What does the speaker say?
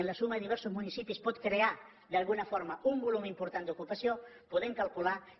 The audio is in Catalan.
amb la suma de diversos municipis pot crear d’alguna forma un volum important d’ocupació podem calcular que